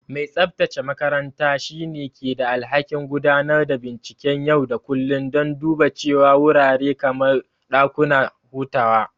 Mai tsabtace makaranta shine ke da alhakin gudanar da binciken yau da kullun don duba cewa wurare kamar dakuna hutawa.